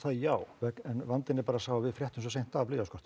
já vegna en vandinn er bara sá að við fréttum svo seint af